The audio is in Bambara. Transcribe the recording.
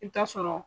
I bi taa sɔrɔ